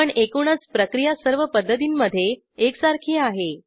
पण एकूणच प्रक्रिया सर्व पद्धतींमध्ये एकसारखी आहे